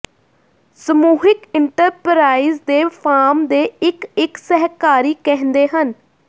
ਸਮੂਹਿਕ ਇੰਟਰਪਰਾਈਜ਼ ਦੇ ਫਾਰਮ ਦੇ ਇੱਕ ਇੱਕ ਸਹਿਕਾਰੀ ਕਹਿੰਦੇ ਹਨ